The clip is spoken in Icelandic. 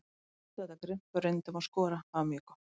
Við sóttum þetta grimmt og reyndum að skora, það var mjög gott.